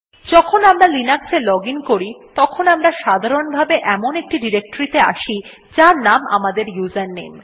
যখন আমরা লিনাক্স এ লজিন করি তখন আমরা সাধারণভাবে এমন একটি ডিরেক্টরীতে আসি যার নাম আমাদের ইউজারনেম